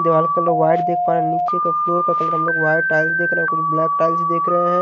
दिवाल का colour white देख पा रहे हैंनीचे का फ्लोर का कलर हम लोग वाइट टाइल्स देख रहे हैंकुछ ब्लैक टाइल्स देख रहे हैं।